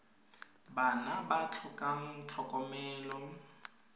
bana ba ba tlhokang tlhokomelo